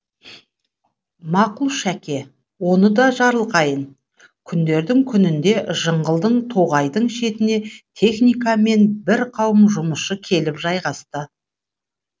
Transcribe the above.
мақұл шәке оны да жарылқайын күндердің күнінде жыңғылды тоғайдың шетіне техника мен бір қауым жұмысшы келіп жайғасты